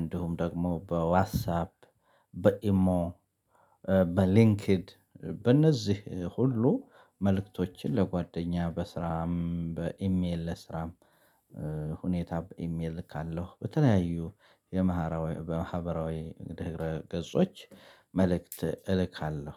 እንዲሁም ደግሞ በዋትሳብ በኢሞ። በሊንክድ በእነዚህ ሁሉ መልእክቶችን ለጓደኛ በስራም በኢሜል ለስራም ሁኔታ በኢሜል ካለው በተለያዩ የመሃራ በማህበራዊ ድህረ ገጾች መልእክት እልካለሁ።